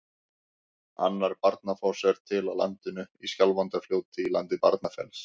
Annar Barnafoss er til á landinu, í Skjálfandafljóti í landi Barnafells.